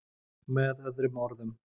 Með öðrum orðum.